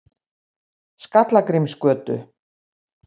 Skallagrímsgötu